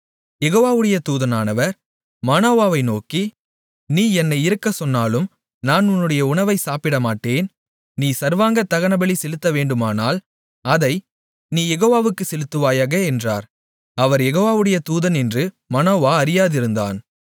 யெகோவாவுடைய தூதனானவர் மனோவாவை நோக்கி நீ என்னை இருக்கச் சொன்னாலும் நான் உன்னுடைய உணவை சாப்பிடமாட்டேன் நீ சர்வாங்க தகனபலி செலுத்தவேண்டுமானால் அதை நீ யெகோவாவுக்குச் செலுத்துவாயாக என்றார் அவர் யெகோவாவுடைய தூதன் என்று மனோவா அறியாதிருந்தான்